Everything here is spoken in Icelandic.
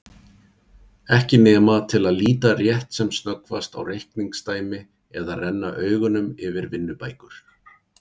Ekki nema til að líta rétt sem snöggvast á reikningsdæmi eða renna augunum yfir vinnubækur.